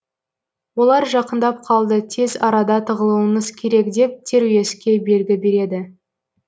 олар жақындап қалды тез арада тығылуыңыз керек деп теруеске белгі береді